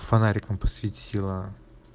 фонариком посвятила